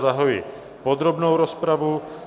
Zahajuji podrobnou rozpravu.